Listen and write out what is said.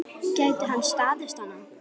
Gæti hann staðist hana?